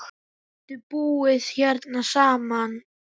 Við getum búið hérna saman.